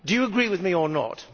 Do you agree with me or not?